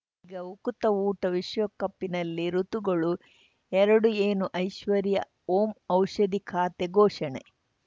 ಈಗ ಉಕುತ ಊಟ ವಿಶ್ವಕಪ್ಪಿನಲ್ಲಿ ಋತುಗಳು ಎರಡು ಏನು ಐಶ್ವರ್ಯಾ ಓಂ ಔಷಧಿ ಖಾತೆ ಘೋಷಣೆ